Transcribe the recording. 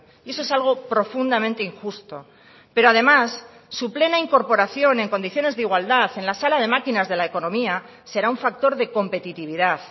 y eso es algo profundamente injusto pero además su plena incorporación en condiciones de igualdad en la sala de máquinas de la economía será un factor de competitividad